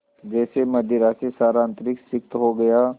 जैसे मदिरा से सारा अंतरिक्ष सिक्त हो गया